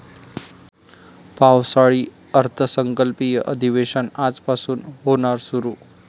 पावसाळी अर्थसंकल्पीय अधिवेशन आजपासून होणार सुरु